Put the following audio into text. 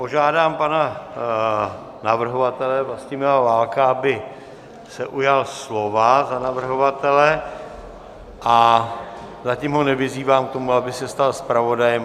Požádám pana navrhovatele Vlastimila Válka, aby se ujal slova za navrhovatele, a zatím ho nevyzývám k tomu, aby se stal zpravodajem.